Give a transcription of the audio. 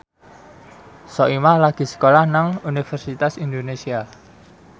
Soimah lagi sekolah nang Universitas Indonesia